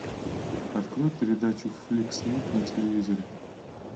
открой передачу фликс снип на телевизоре